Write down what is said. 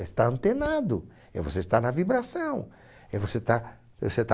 É estar antenado, é você estar na vibração, é você estar, você estar